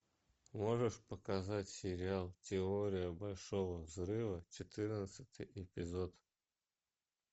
можешь показать сериал теория большого взрыва четырнадцатый эпизод